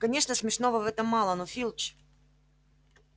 конечно смешного в этом мало но филч